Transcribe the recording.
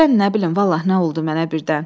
Birdən nə bilim, vallah nə oldu mənə birdən.